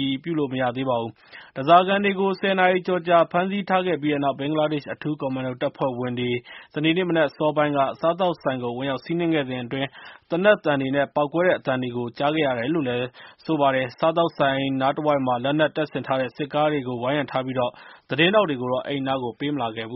ည်ပြုလို့ မရသေးပါဘူး။ ဓါးစာခံတွေကို ၁၀ နာရီကျော်ကြာ ဖမ်းဆီးထားခဲ့ပြီး တဲ့နောက် ဘင်္ဂလားဒေ့ရှ် အထူး ကွန်မန်ဒို တပ်ဖွဲ့ဝင်တွေ စနေနေ့ မနက်အစောပိုင်းက စားသောက်ဆိုင်ကို ဝင်ရောက် စီးနှင်းခဲ့စဉ်အတွင်း သေနတ်သံတွေ ပေါက်ကွဲတဲ့ အသံတွေကို ကြားခဲ့ရပါတယ်။ စားသောက်ဆိုင်နား တဝိုက်မှာ လက်နက် တပ်ဆင်ထားတဲ့ စစ်ကားတွေကို ဝိုင်းရံထားပြီး၊ သတင်းထောက်တွေကိုတော့ အဲဒီအနားကို ပေးမလာခဲ့ပါဘူး